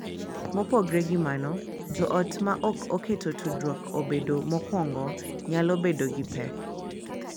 Mopogore gi mano, joot ma ok keto tudruok obed mokuongo nyalo bedo gi pek .